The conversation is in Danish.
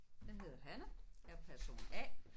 Jeg hedder Hanne jeg person A